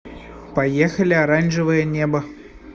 поехали оранжевое небо